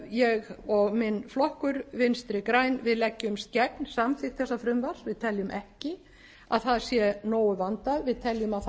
ég og minn flokkur vinstri græn við leggjumst gegn samþykkt þessa frumvarps við teljum ekki að það sé nógu vandað við teljum að það